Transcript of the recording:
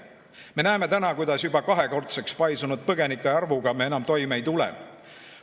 Me näeme täna, kuidas juba kahekordseks paisunud põgenikearvuga me enam toime ei tule.